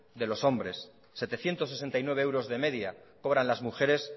de los hombres setecientos sesenta y nueve euros de media cobran las mujeres